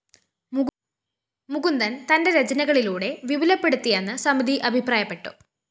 മുകുന്ദന്‍ തന്റെ രചനകളിലൂടെ വിപുലപ്പെടുത്തിയെന്ന് സമിതി അഭിപ്രായപ്പെട്ടു